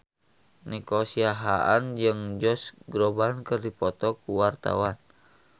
Nico Siahaan jeung Josh Groban keur dipoto ku wartawan